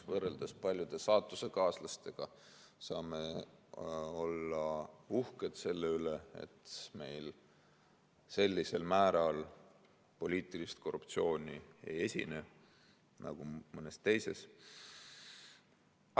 Võrreldes paljude saatusekaaslastega saame olla uhked selle üle, et meil ei esine sellisel määral poliitilist korruptsiooni nagu mõnes teises riigis.